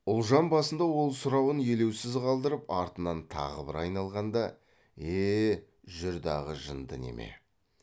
ұлжан басында ол сұрауын елеусіз қалдырып артынан тағы бір айналғанда е жүр дағы жынды неме